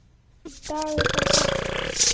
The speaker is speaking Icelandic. Í dag er það safn.